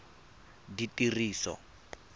ditiriso